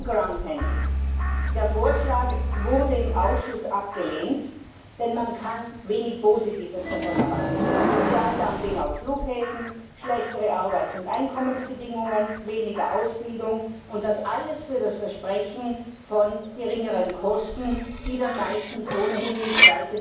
Zum Groundhandling Der Vorschlag wurde im Ausschuss abgelehnt, denn man kann wenig Positives davon erwarten Sozialdumping auf Flughäfen, schlechtere Arbeits und Einkommensbedingungen, weniger Ausbildung, und das alles für das Versprechen von geringeren Kosten, die dann meistens ohnehin nicht